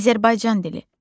Azərbaycan dili.